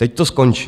Teď to skončí.